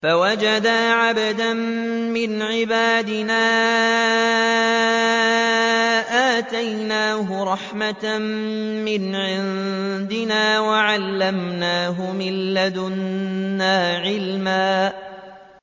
فَوَجَدَا عَبْدًا مِّنْ عِبَادِنَا آتَيْنَاهُ رَحْمَةً مِّنْ عِندِنَا وَعَلَّمْنَاهُ مِن لَّدُنَّا عِلْمًا